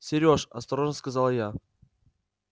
серёж осторожно сказала я